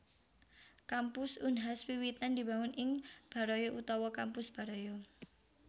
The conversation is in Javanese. Kampus Unhas wiwitan dibangun ing Baraya utawa Kampus Baraya